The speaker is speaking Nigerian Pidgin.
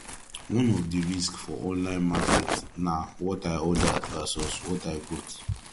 one of di risk for online market na what i ordered vs what i got